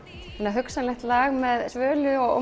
hugsanlegt lag með Svölu og